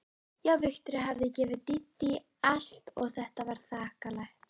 Já, Viktoría hafði gefið Dídí allt og þetta var þakklætið.